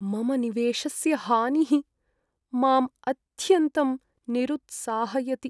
मम निवेशस्य हानिः माम् अत्यन्तं निरुत्साहयति।